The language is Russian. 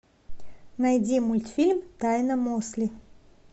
найди мультфильм тайна мосли